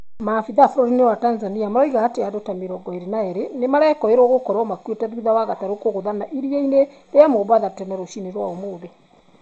Maabitha bũrũri-inĩ wa Tanzania maroiga atĩ andũ ta mĩrongo ĩrĩ na erĩ nĩmarakĩrwo gũkorwo makuĩte thutha wa gatarũ kũgũthana iria-inĩ rĩa Mombatha tene rũcinĩ rwa ũmũthĩ.